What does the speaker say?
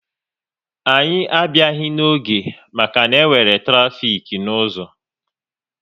Anyị abịaghị n'oge maka na-enwere trafik n'ụzọ